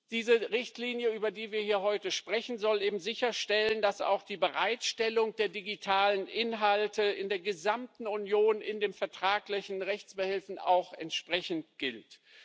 Diese Richtlinie, über die wir hier heute sprechen, soll eben sicherstellen, dass auch für die Bereitstellung der digitalen Inhalte in der gesamten Union die vertraglichen Rechtsbehelfe gelten.